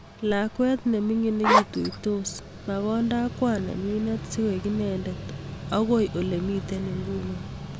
Kakwet nemingin nekituitos makonda ak kwan nenyinet sikoi inendet akoi olemitei inguni